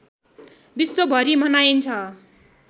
विश्वभरि मनाइन्छ